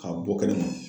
K'a bɔ kɛnɛma